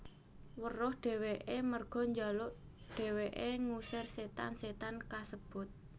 Weruh dheweke warga njaluk dheweke ngusir setan setan kasebut